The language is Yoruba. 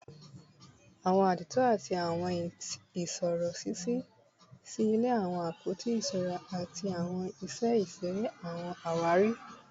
Awọn àdììtú ati awọn isiro ṣiṣi silẹ awọn apoti iṣura ati awọn iṣẹ iṣere / awọn awari